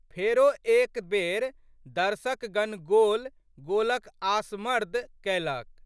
फेरो एक बेर दर्शकगण गोल...गोलक आसमर्द कएलक।